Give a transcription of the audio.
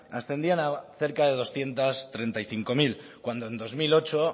ascendían a cerca de doscientos treinta y cinco mil cuando en dos mil ocho